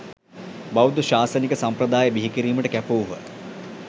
බෞද්ධ ශාසනික සම්ප්‍රදාය බිහිකිරීමට කැපවූහ